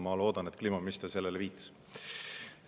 Ma loodan, et kliimaminister viitas sellele.